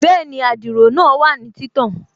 Bẹ́ẹ̀ni, adiro náà wà ní títàn